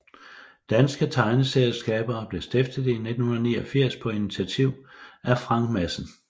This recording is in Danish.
Danske Tegneserieskabere blev stiftet i 1989 på initiativ af Frank Madsen